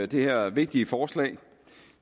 det her vigtige forslag